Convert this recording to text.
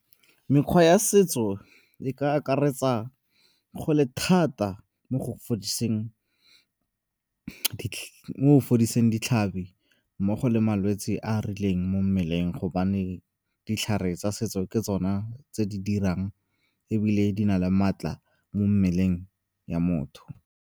Mekgwa ya setso e ka akaretsa go le thata mo go fodiseng ditlhabi mmogo le malwetse a a rileng mo mmeleng gobane ditlhare tsa setso ke tsona tse di dirang ebile di na le maatla mo mmeleng ya motho.